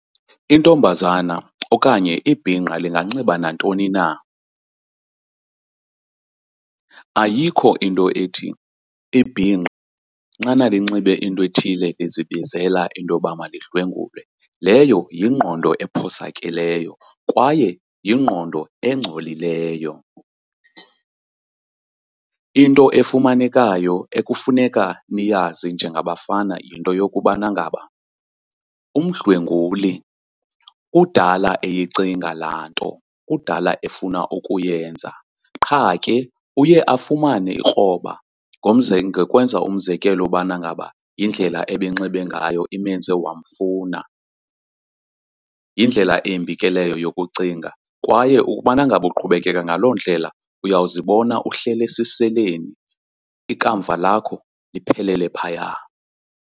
Intombazana okanye ibhinqa linganxiba nantoni na, ayikho into ethi ibhinqa xana linxibe into ethile lizibizela into yoba malidlwengulwe, leyo yingqondo ephosakeleyo kwaye yingqondo engcolileyo. Into efumanekayo ekufuneka niyazi njengabafana yinto yokubana ngaba umdlwenguli kudala eyicinga laa nto, kudala efuna ukuyenza qha ke uye afumane ikroba ngokwenza umzekelo ubana ngaba yindlela ebenxibe ngayo imenze wamfuna. Yindlela embi ke leyo yokucinga kwaye ukubana ngaba uqhubekeka ngaloo ndlela uyawuzibona uhlele esiseleni ikamva lakho liphelele phaya.